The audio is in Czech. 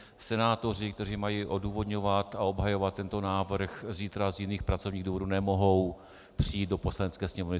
Senátoři, kteří mají odůvodňovat a obhajovat tento návrh, zítra z jiných pracovních důvodů nemohou přijít do Poslanecké sněmovny.